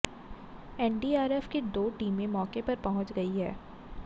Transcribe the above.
NDRF की दो टीमें मौके पर पहुंच गई हैं